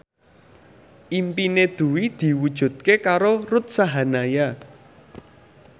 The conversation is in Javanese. impine Dwi diwujudke karo Ruth Sahanaya